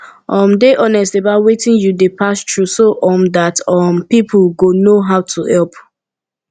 um dey honest about wetin you dey pass through so um dat um pipo go know how to help